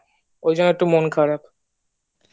ওই জন্য একটু মনখারাপ